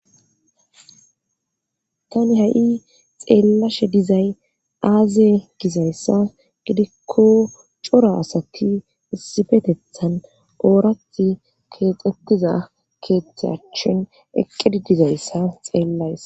tani ha7i xeellashe dizay aaze gizayssa gidikko coro asakki issifetethan oorati keexotiza keethtachin eqqedi dizayssa xeellayss